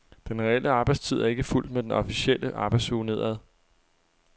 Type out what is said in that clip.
Den reelle arbejdstid er ikke fulgt med den officielle arbejdsuge nedad.